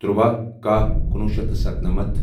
تُرٛواہ کَہہ کُنوُہ شیٚتھ تہٕ ستنَمتھ